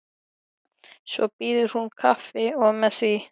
Svo býður hún kaffi og með því.